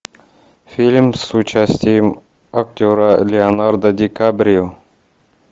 фильм с участием актера леонардо ди каприо